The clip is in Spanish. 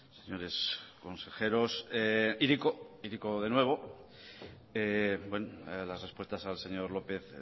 señores consejeros hiriko hiriko de nuevo las respuestas al señor lópez